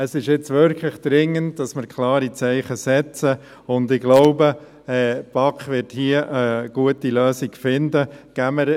Es ist nun wirklich dringend, dass wir klare Zeichen setzen, und ich glaube, dass die BaK hier eine gute Lösung finden wird.